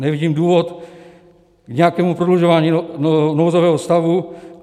Nevidím důvod k nějakému prodlužování nouzového stavu.